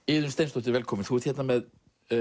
Iðunn Steinsdóttir velkomin þú ert hérna með